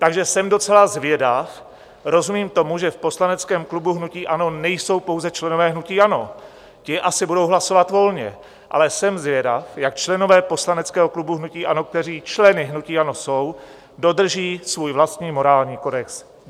Takže jsem docela zvědav - rozumím tomu, že v poslaneckém klubu hnutí ANO nejsou pouze členové hnutí ANO, ti asi budou hlasovat volně, ale jsem zvědav, jak členové poslaneckého klubu hnutí ANO, kteří členy hnutí ANO jsou, dodrží svůj vlastní morální kodex.